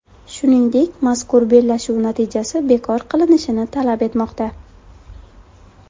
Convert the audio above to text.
Shuningdek, mazkur bellashuv natijasi bekor qilinishini talab etmoqda.